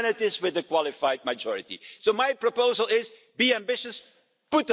And the good news about climate change is that we know what to